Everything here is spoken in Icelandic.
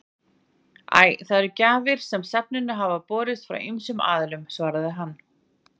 Æ, það eru gjafir sem safninu hafa borist frá ýmsum aðilum svaraði hann.